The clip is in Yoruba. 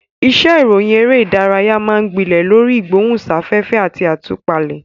Iṣẹ́ ìròyìn eré ìdárayá máa ń gbilẹ̀ lórí ìgbóhùnsáfẹ́fẹ́ àti àtúpalẹ̀.